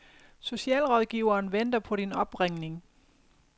Socialrådgiveren venter på din opringning